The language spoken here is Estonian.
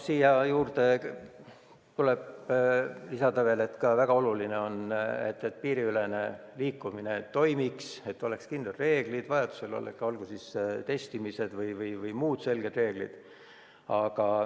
Siia juurde tuleb lisada veel seda, et väga oluline on, et piiriülene liikumine toimiks ja et oleks kindlad reeglid, näiteks vajaduse korral testimine või muud selged reeglid.